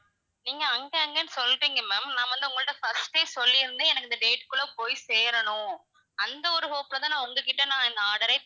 நீங்க அங்க அங்கன்னு சொல்றீங்க ma'am நான் வந்து உங்கள்ட்ட first ஏ சொல்லி இருந்தேன் எனக்கு இந்த date குள்ள போய் சேரணும், அந்த ஒரு hope ல தான் நான் உங்ககிட்ட இந்த order ஏ,